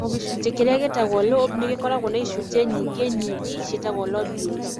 O gĩcunjĩ kĩrĩa gĩtagwo lobe nĩ gĩkoragũo na icunjĩ nyingĩ nini ciĩtagwo lobules.